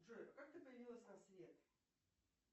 джой как ты появилась на свет